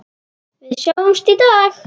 Við sjáumst í dag.